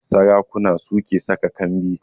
Sarakuna su ke saka kambi